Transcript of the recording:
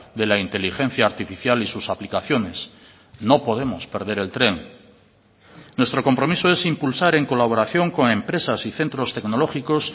de la inteligencia artificial y sus aplicaciones no podemos perder el tren nuestro compromiso es impulsar en colaboración con empresas y centros tecnológicos